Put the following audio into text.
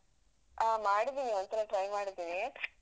ಆ ಮಾಡಿದಿನಿ ಒಂದ್ಸಲ try ಮಾಡಿದಿನಿ.